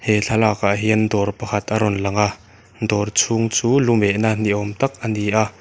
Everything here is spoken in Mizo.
he thlalakah hian dawr pakhat a rawn langa dawr chhung chu lu mehna niawm tak a ni a.